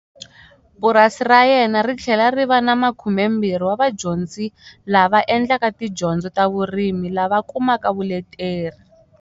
Purasi ra yena ri tlhela ri va na 20 wa vadyondzi lava endlaka tidyondzo ta vurimi lava kumaka vuleteri.